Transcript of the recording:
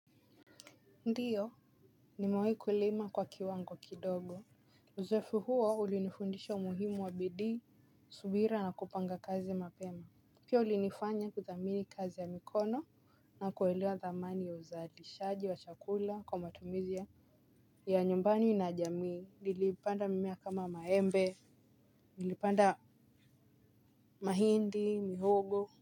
Ndiyo nimewahi kulima kwa kiwango kidogo. Uzoefu huo ulinifundisha umuhimu wa bidii subira na kupanga kazi mapema. Pia ulinifanya kuthamini kazi ya mikono na kuelewa thamani ya uzalishaji wa chakula kwa matumizi ya nyumbani na jamii, nilipanda mimea kama maembe, nilipanda mahindi, mihogo.